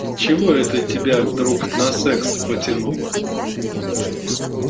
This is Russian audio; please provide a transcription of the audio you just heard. чего это тебя вдруг на секс потянуло